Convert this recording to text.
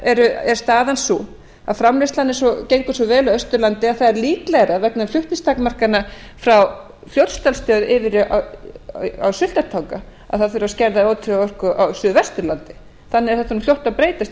vegar er staðan sú að framleiðslan gengur svo vel á austurlandi að það er líklegra vegna flutningstakmarkana frá fljótsdalsstöð yfir á sultartanga að það þurfi að skerða á suðvesturlandi þannig er þetta fljótt